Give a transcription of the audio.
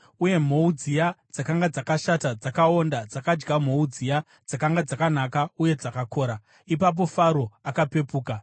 Uye mhou dziya dzakanga dzakashata, dzakaonda, dzakadya mhou dziya dzakanga dzakanaka uye dzakakora. Ipapo Faro akapepuka.